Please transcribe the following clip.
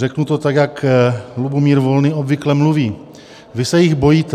Řeknu to tak, jak Lubomír Volný obvykle mluví: Vy se jich bojíte.